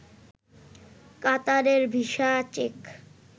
কাতারের visa check